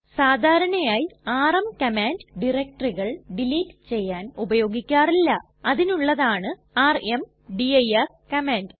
സാധാരണയായി rm command ഡയറക്ടറികൾ delete ചെയ്യാൻ ഉപയോഗിക്കാറില്ല അതിനുള്ളതാണ് ർമ്ദിർ കമാൻഡ്